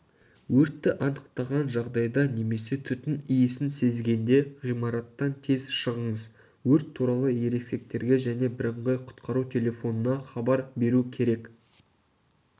өртті анықтаған жағдайда немесе түтін иісін сезгенде ғимараттан тез шығыңыз өрт туралы ересектерге және бірыңғай құтқару телефонына хабар беру керек